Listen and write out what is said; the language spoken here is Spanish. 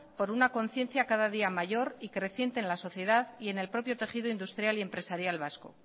con una conciencia cada día mayor y creciente en la sociedad y en el propio tejido industrial y empresarial vasco